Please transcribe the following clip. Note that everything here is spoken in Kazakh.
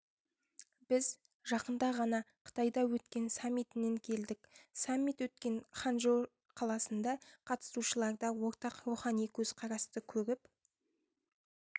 біз жақында ғана қытайда өткен саммитінен келдік саммит өткен ханчжоу қаласында қатысушыларда ортақ рухани көзқарасты көріп